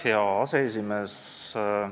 Hea aseesimees!